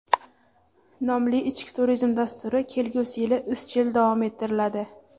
nomli ichki turizm dasturi kelgusi yili izchil davom ettiriladi.